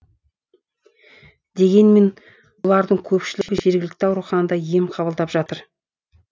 дегенмен олардың көпшілігі жергілікті ауруханада ем қабылдап жатыр